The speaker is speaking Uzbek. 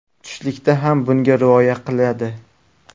Tushlikda ham bunga rioya qiladi.